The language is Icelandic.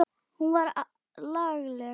Hún var lagleg.